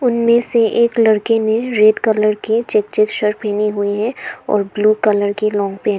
उनमें से एक लड़के ने रेड कलर के चेक चेक शर्ट पहनी हुई है और ब्लू कलर के लांग पैंट ।